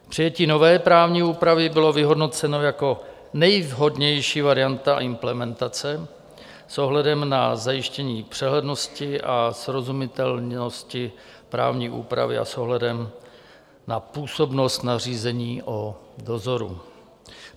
Přijetí nové právní úpravy bylo vyhodnoceno jako nejvhodnější varianta implementace s ohledem na zajištění přehlednosti a srozumitelnosti právní úpravy a s ohledem na působnost nařízení o dozoru.